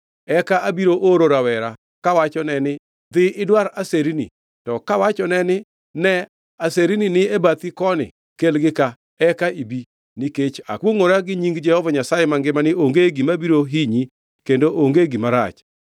Eka abiro oro rawera kawachone ni, ‘Dhi idwar aserni.’ To kawachone ni, ‘Ne, aserni ni e bathi koni; kelgi ka, eka ibi, nikech akwongʼora gi nying Jehova Nyasaye mangima ni onge gima biro hinyi kendo onge gima rach.’